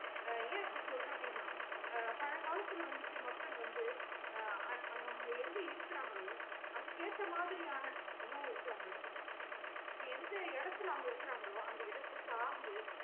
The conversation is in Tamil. ஏ அப்டி சொல்லுறேன் அப்டின்னா அஹ் பழங்காலத்துல வந்துட்டு மக்கள் வந்து அஹ் அவங்க எங்க இருக்க்குராங்களோ அதுக்கு எத்த மாறியான உணவ வந்து அவங்க எடுத்துப்பாங்க இப்ப எந்த எடுத்ததுல அவங்க இருக்கங்கலோ அந்த இடத்த சார்ந்து